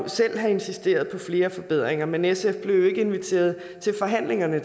have insisteret på flere forbedringer men sf blev jo desværre ikke inviteret til forhandlingerne